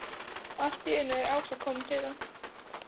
Allt í einu er Ása komin til hans.